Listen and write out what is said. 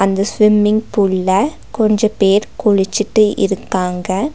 இந்த ஸ்விம்மிங் பூல்ல கொஞ்ச பேர் குளிச்சிட்டு இருக்காங்க.